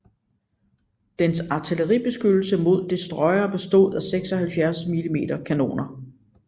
Dens artilleribeskyttelse mod destroyere bestod af 76 mm kanoner